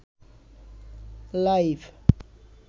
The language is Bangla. লাইফ